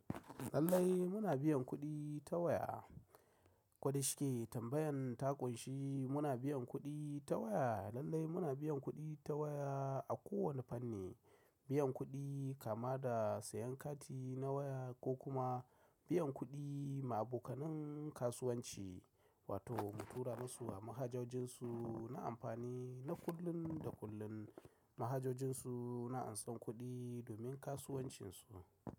Lallai muna biyan kuɗi ta waya, kuɗi shi ke tambayan taƙunshi. Muna biyan kuɗi ta waya. Lallai muna biyan kuɗi ta waya a kowane fanni, biyan kuɗi kama da sayan kati na waya ko kuma biyan kuɗi ma abokanin kasuwanci wato mu tura masu a mahajojin su na amfani na kullum da kullum mahajojin su na ansan kuɗi domin kasuwancin su.